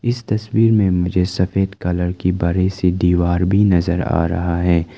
इस तस्वीर में मुझे सफेद कलर की बड़ी सी दीवार भी नजर आ रहा है।